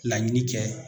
Laɲini kɛ